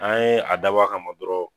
An ye a dabɔ a kama dɔrɔn